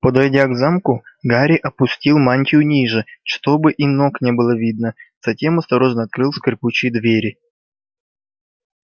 подойдя к замку гарри опустил мантию ниже чтобы и ног не было видно затем осторожно открыл скрипучие двери